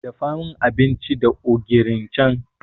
Dafa min abinci da ogirin can.